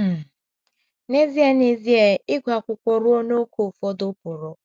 um N’ezie N’ezie, ịgụ akwụkwọ ruo n’ókè ụfọdụ pụrụ um